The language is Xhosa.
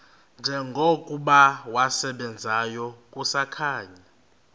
njengokuba wasebenzayo kusakhanya